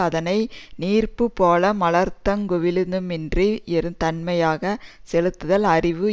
அதனை நீர் பூ போல மலர்தலுங் குவிதலுமின்றி யொருதன்மையாக செலுத்துதல் அறிவு